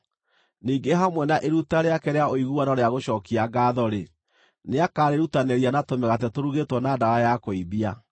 Ningĩ hamwe na iruta rĩake rĩa ũiguano rĩa gũcookia ngaatho-rĩ, nĩakarĩrutanĩria na tũmĩgate tũrugĩtwo na ndawa ya kũimbia.